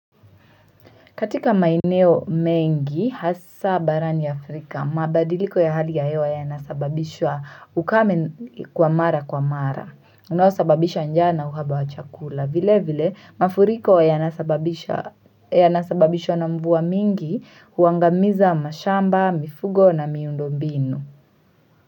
Katika maeneo mengi, hasa barani Afrika, mabadiliko ya hali ya hewa yanasababisha ukame kwa mara kwa mara. Unaosababisha njaa na uhaba wa chakula. Vile vile, mafuriko yanasababishwa na mvua mingi, uangamiza mashamba, mifugo na miundobinu.